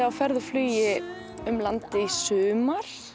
á ferð og flugi um landið í sumar